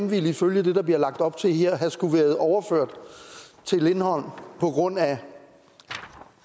ville ifølge det der bliver lagt op til her skulle have været overført til lindholm på grund af